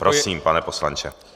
Prosím, pane poslanče.